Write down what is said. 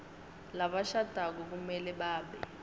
labashadako kumele babe